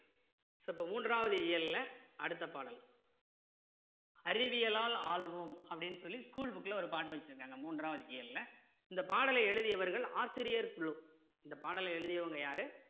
so இப்போ மூன்றாவது இயல்ல அடுத்த பாடல் அறிவியலால் ஆள்வோம் அப்படின்னு சொல்லி school book ல ஒரு பாட்டு வச்சிருக்காங்க மூன்றாவது இயல்ல இந்த பாடலை எழுதியவர்கள் ஆசிரியர் குழு இந்த பாடலை எழுதியவங்க யாரு